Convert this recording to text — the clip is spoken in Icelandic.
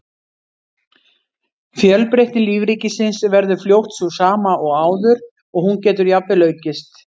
Fjölbreytni lífríkisins verður fljótt sú sama og áður og hún getur jafnvel aukist.